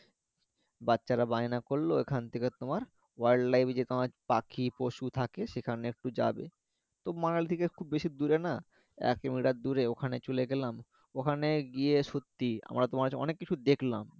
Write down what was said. বাচ্চারা বায়না করলো ওখান থেকে তোমার wild life যে তোমার পাখি পশু থাকে সেখানে একটু যাবে তো মানলী থেকে খুব বেশি দূরে না এক কিলোমিটার দুরে ওখানে চলে গেলাম ওখানে গয়ে সত্যি আমরা তোমার হচ্ছে অনেক কিছু দেখলাম